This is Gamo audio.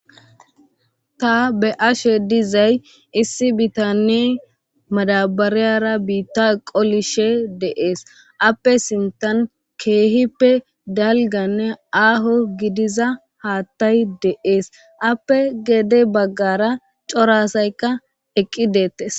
ta be'ashe dizay issi bitane madabariyara biitta qolishe deees appe sintan keehippe dalganne aaho gidiza haattay deees appe gede baggara corasaykka eqqi deettes